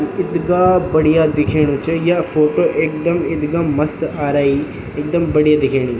यु इथगा बढ़िया दिखेणु च या फोटो एकदम एकदम मस्त आराई एकदम बढ़िया दिखेनी।